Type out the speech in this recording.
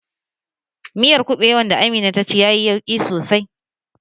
Miyar kuɓewan da Amina ta ci yayi yauƙi sosai